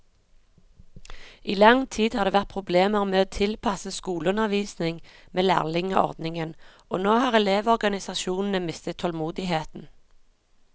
I lang tid har det vært problemer med å tilpasse skoleundervisning med lærlingeordningen, og nå har elevorganisasjonene mistet tålmodigheten.